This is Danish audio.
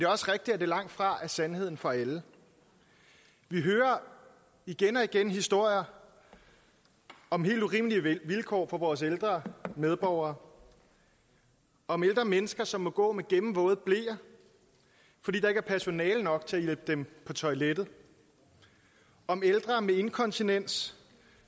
også rigtigt at det langtfra er sandheden for alle vi hører igen og igen historier om helt urimelige vilkår for vores ældre medborgere om ældre mennesker som må gå med gennemvåde bleer fordi der ikke er personale nok til at hjælpe dem på toilettet om ældre med inkontinens